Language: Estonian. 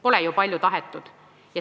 Pole ju palju tahetud.